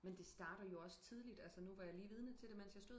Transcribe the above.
Men det starter jo også tideligt altså nu jeg var lige vidne til det da jeg stod